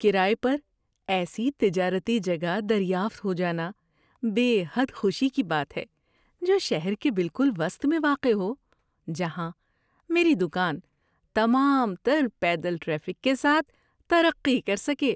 کرایے پر ایسی تجارتی جگہ دریافت ہو جانا بے حد خوشی کی بات ہے جو شہر کے بالکل وسط میں واقع ہو، جہاں میری دکان تمام تر پیدل ٹریفک کے ساتھ ترقی کر سکے۔